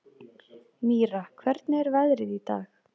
Mýra, hvernig er veðrið í dag?